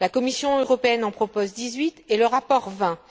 La Commission européenne en propose dix huit et le rapport vingt.